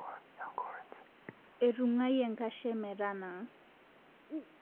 Etungayie nkashe metanaa